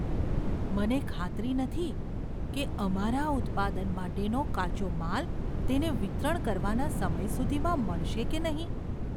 મને ખાતરી નથી કે અમારા ઉત્પાદન માટેનો કાચો માલ તેને વિતરણ કરવાના સમય સુધીમાં મળશે કે નહીં.